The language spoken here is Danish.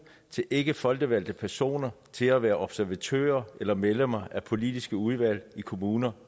til ikkefolkevalgte personer til at være observatører eller medlemmer af politiske udvalg i kommuner